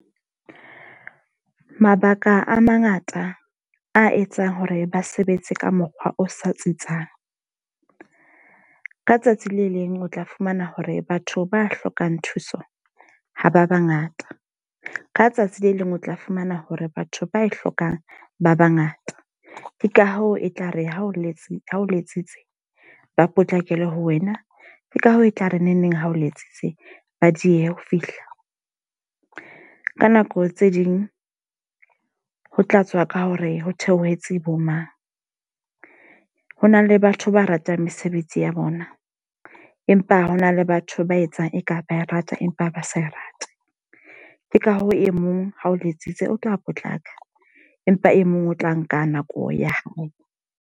Mabaka a mangata a etsang hore ba sebetse ka mokgwa o sa tsitsang. Ka tsatsi le leng o tla fumana hore batho ba hlokang thuso ha ba ba ngata. Ka tsatsi le leng o tla fumana hore batho ba e hlokang ba ba ngata. Ke ka hoo e tla re ha o letsi ha o letsitse, ba potlakelwe ho wena. Ke ka hoo e tla re neng neng ha o letsitse, ba diehe ho fihla. Ka nako tse ding ho tlatswa ka hore ho theohetse bo mang. Ho na le batho ba ratang mesebetsi ya bona, empa hona le batho ba etsang eka ba e rata empa ba sa rate. Ke ka hoo e mong ha o letsitse, o tla potlaka empa e mong o tla nka nako ya hae.